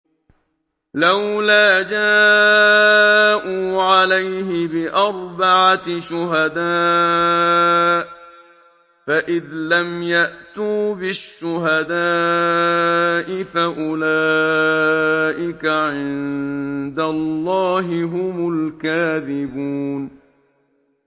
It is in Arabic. لَّوْلَا جَاءُوا عَلَيْهِ بِأَرْبَعَةِ شُهَدَاءَ ۚ فَإِذْ لَمْ يَأْتُوا بِالشُّهَدَاءِ فَأُولَٰئِكَ عِندَ اللَّهِ هُمُ الْكَاذِبُونَ